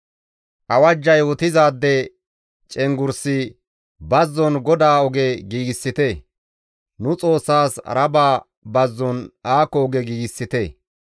Awajja yootizaade cenggurssi, «Bazzon GODAA oge giigsite; nu Xoossaas Aaraba bazzon aako oge giigsite.